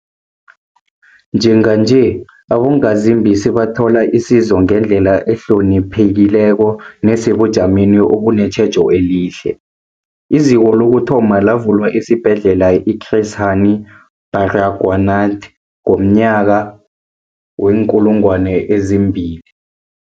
Njenganje, abongazimbi sebathola isizo ngendlela ehloniphekileko nesebujameni obunetjhejo elihle. IZiko lokuthoma lavulwa esiBhedlela i-Chris Hani Baragwanath ngomnyaka we-2000.